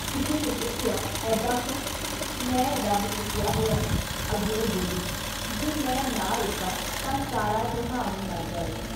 ਕਿਸੇ ਨੇ ਪੁੱਛਿਆ - ਐਦਾਂ ਕਿਉਂ? ਮੈਂ ਰੱਬ ਚੁੱਕਿਆ ਹੋਇਆ! ਅੱਗਿਓਂ ਬੋਲੀ -ਜੇ ਮੈਂ ਨਾ ਰੋਕਾਂ ਤਾਂ ਸਾਰਾ ਜਹਾਨ ਈ ਮਰ ਜਾਵੇ।